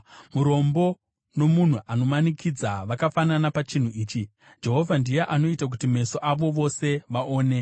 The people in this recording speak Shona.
Murombo nomunhu anomanikidza vakafanana pachinhu ichi: Jehovha ndiye anoita kuti meso avo vose aone.